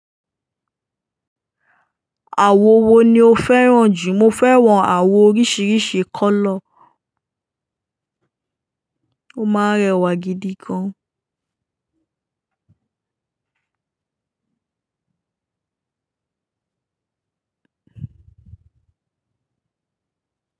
Àwo wo ni o fẹ́ràn jù? Mo fẹ́ràn àwo oríṣiríṣi kọ́lọ̀, ó máa ń rẹwà gidi gan.